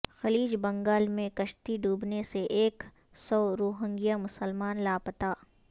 خلیج بنگال میں کشتی ڈوبنے سے ایک سو روہنگیا مسلمان لاپتا